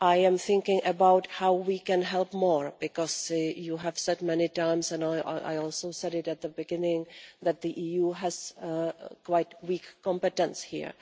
I am thinking about how we can help more because you have said many times, and I also said it at the beginning, that the EU has a quite weak competence here.